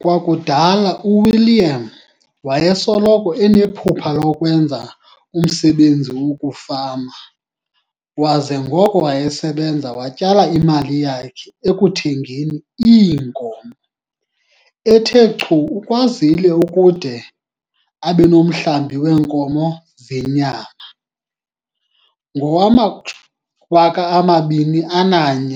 Kwakudala uWilliam wayesoloko enephupha lokwenza umsebenzi wokufama waza ngoko wayesebenza watyala imali yakhe ekuthengeni iinkomo. Ethe chu ukwazile ukude abe nomhlambi weenkomo zenyama. Ngowama-2001